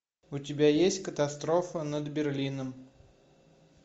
у тебя есть катастрофа над берлином